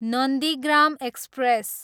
Nandigram express